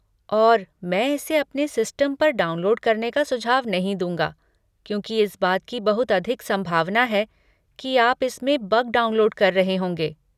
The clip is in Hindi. और मैं इसे अपने सिस्टम पर डाउनलोड करने का सुझाव नहीं दूँगा क्योंकि इस बात की बहुत अधिक संभावना है कि आप इसमें बग डाउनलोड कर रहे होंगे।